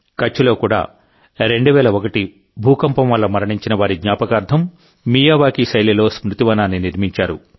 కచ్లో కూడా 2001 భూకంపం వల్ల మరణించిన వారి జ్ఞాపకార్థం మియావాకీ శైలిలో స్మృతి వనాన్ని నిర్మించారు